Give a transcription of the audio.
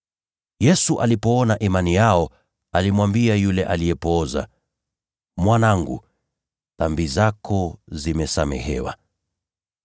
Yesu alipoiona imani yao, alimwambia yule mtu aliyepooza, “Mwanangu, dhambi zako zimesamehewa.”